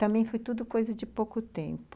Também foi tudo coisa de pouco tempo.